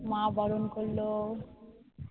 মা বরণ করলো